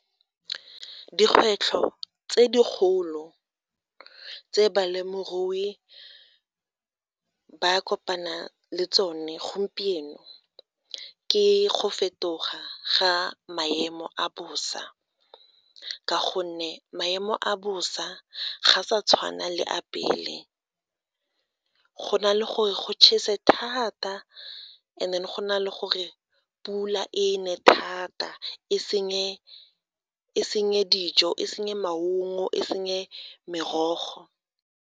Dikgwetlho tse dikgolo tse balemirui ba kopana le tsone gompieno, ke go fetoga ga maemo a bosa ka gonne maemo a bosa ga a sa tshwana le a pele go na le gore go chese thata and then go na le gore pula e ne thata e senye dijo e senye maungo e senye merogo.